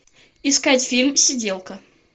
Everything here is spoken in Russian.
искать фильм сиделка